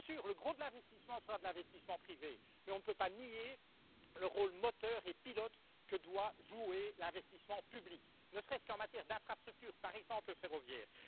Bien sûr, le gros de l'investissement sera de l'investissement privé, mais on ne peut pas nier le rôle moteur et pilote que doit jouer l'investissement public, ne serait ce qu'en matière d'infrastructures, par exemple ferroviaires.